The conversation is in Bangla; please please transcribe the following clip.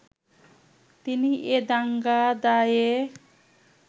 তিনি এ দাঙ্গার দায়ে